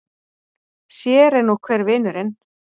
Sér er nú hver vinurinn!